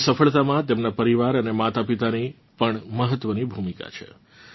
તેમની સફળતામાં તેમનાં પરિવાર અને માતાપિતાની પણ મહત્વની ભૂમિકા છે